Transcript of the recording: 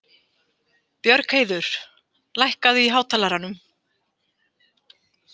Björgheiður, lækkaðu í hátalaranum.